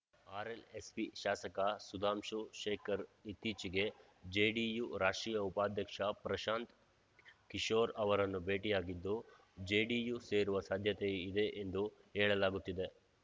RLSP ಶಾಸಕ ಸುಧಾಂಶು ಶೇಖರ್‌ ಇತ್ತೀಚೆಗೆ JDU ರಾಷ್ಟ್ರೀಯ ಉಪಾಧ್ಯಕ್ಷ ಪ್ರಶಾಂತ್‌ ಕಿಶೋರ್‌ ಅವರನ್ನು ಭೇಟಿಯಾಗಿದ್ದು ಜೆಡಿಯು ಸೇರುವ ಸಾಧ್ಯತೆ ಇದೆ ಎಂದು ಹೇಳಲಾಗುತ್ತಿದೆ